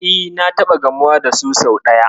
E, na taɓa gamuwa da su sau ɗaya.